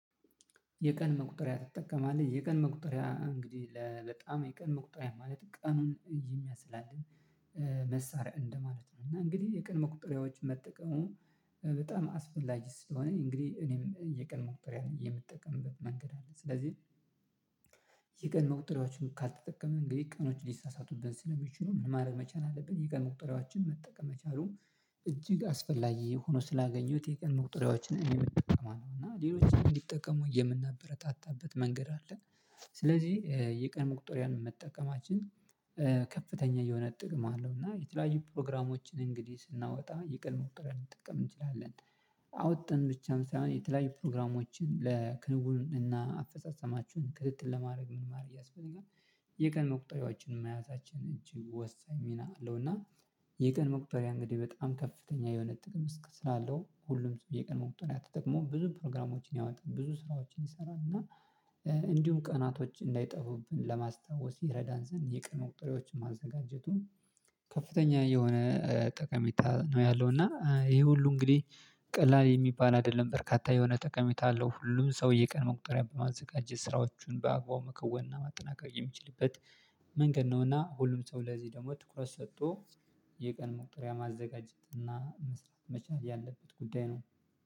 የቀን መቁጠሪያ ትጠቀማለህ? የቀን መቁጠሪያ እንግዲህ በጣም የቀን መቁጠሪያ ማለት ቀኑን ይመስላልኝ መሳሪያ እንደማለት ነው። እና እንግዲህ የቀን መቁጠሪያዎች መጠቀሙ በጣም አስፈላጊ ስለሆነ እንግዲህ እኔም የቀን መቁጠሪያ የምጠቀምበት መንገድ አለ። ስለዚህ የቀን መቁጠሪያዎችን ካልተጠቀምን እንግዲህ ቀኖች ሊሳሳቱብን ስለሚችሉ ምን ማረግ መቻል አለብን። የቀን መቁጠሪያዎችን መጠቀም መቻሉ እጅግ አስፈላጊ ሆኖ ስላገኘሁት የቀን መቁጠሪያዎችን እኔም እጠቀማለሁ እና ሌሎችም እንዲጠቀሙ የምናበረታታበት መንገድ አለ። የቀን መቁጠሪያን መጠቀማችን ከፍተኛ የሆነ ጥቅም አለው። እና የተለያዩ ፕሮግራሞችን እንግዲህ ስናወጣ ይቅር መቁጠሪያ ልንጠቀም እንችላለን አዉጥተን ብቻም ሳይሆን የተለያዩ ፕሮግራሞችን ለክንዉን እና አፈጻጸማችሁን ክትትል ለማድረግ ምን ማድረግ ያስፈልጋል? የቀን መቁጠሪያዎችን መያዛችን እጅግ ወሳኝ ሚና አለው። እና የቀን መቁጠሪያ እንግዲህ በጣም ከፍተኛ የሆነ ጥቅም ስላለው ሁሉም ሰው የቀን መቁጠሪያ ተጠቅሞ ብዙ ፕሮግራሞችን ያወጣል ብዙ ስራዎችን ይሰራል። እና እንዲሁም ቀናቶች እንዳይጠፉብን ለማስታወስ ይረዳን ዘንድ የቀን መቁጠሪያዎችን ማዘጋጀቱ ከፍተኛ የሆነ ጠቀሜታ ነው ያለው። እና ይህ ሁሉ እንግዲህ ቀላል የሚባል አይደለም በርካታ የሆነ ጠቀሜታ አለው። ሁሉም ሰው የቀን መቁጠሪያ በማዘጋጀት ስራዎቹን በአግባቡ መከወን እና ማጠናከር የሚችልበት መንገድ ነው። እና ሁሉም ሰው ለዚህ ደሞ ትኩረት ሰጥቶ የቀን መቁጠሪያ ማዘጋጀት እና መስራት መቻል ያለበት ጉዳይ ነው